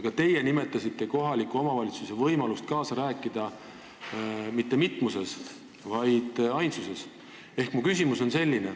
Ka teie mainisite kohaliku omavalitsuse võimalust kaasa rääkida, kasutades mitte mitmust, vaid ainsust.